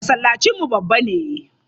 Masallacinmu babba ne.